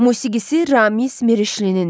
Musiqisi Ramiz Mirişlinindir.